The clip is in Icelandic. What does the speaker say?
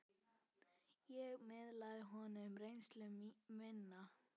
Ég miðlaði honum reynslu minni.